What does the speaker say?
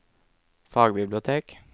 fagbibliotek